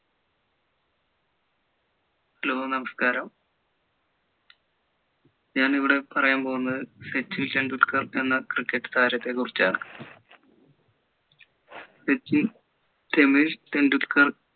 hello നമസ്കാരം ഞാൻ ഇവിടെ പറയാൻ പോകുന്നത് സച്ചിൻ ടെണ്ടുൽക്കർ എന്ന cricket താരത്തെ കുറിച്ചാണ് സച്ചിൻ രമേശ് ടെണ്ടുൽക്കർ